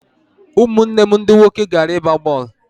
Ụmụnne m ndị nwoke gara ịgba bọọlụ.